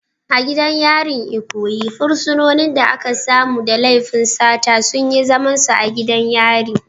A gidan yarin Ikoyi, fursunonin da aka samu da laifin sata sun yi zamansu a gidan yari.